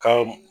Ka